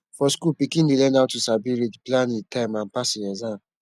for school pikin dey learn how to sabi read plan e time and pass e exam